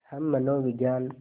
हम मनोविज्ञान